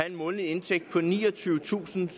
en månedlig indtægt på niogtyvetusinde